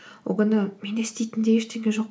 ол күні менде істейтін де ештеңе жоқ